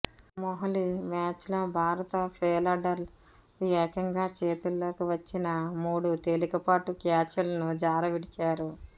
మొహాలీ మ్యాచ్లో భారత ఫీల్డర్లు ఏకంగా చేతుల్లోకి వచ్చిన మూడు తేలికపాటు క్యాచులను జారవిడిచారు